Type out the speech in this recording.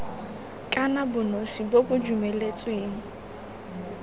kana bonosi bo bo dumeletsweng